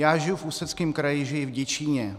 Já žiju v Ústeckém kraji, žiju v Děčíně.